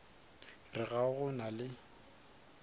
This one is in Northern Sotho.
re ga go na le